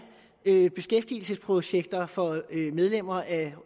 beskæftigelsesprojekter for medlemmer af